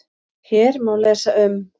Hér má lesa um